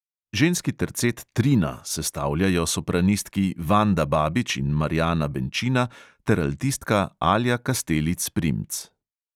Ženski tercet trina sestavljajo sopranistki vanda babič in marjana benčina ter altistka alja kastelic primc.